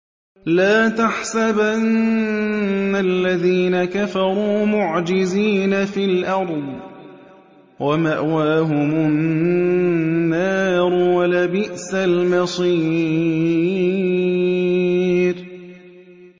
لَا تَحْسَبَنَّ الَّذِينَ كَفَرُوا مُعْجِزِينَ فِي الْأَرْضِ ۚ وَمَأْوَاهُمُ النَّارُ ۖ وَلَبِئْسَ الْمَصِيرُ